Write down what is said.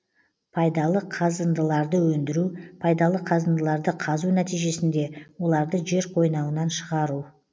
пайдалы қазындыларды өндіру пайдалы қазындыларды қазу нәтижесінде оларды жер қойнауынан шығару